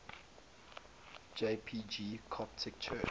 jpg coptic church